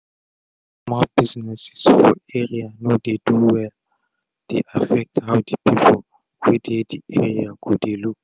if small businesses for area no dey do welle dey affect how the people wey dey the area go dey look.